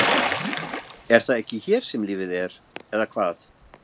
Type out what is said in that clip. Er það ekki hér sem lífið er. eða hvað?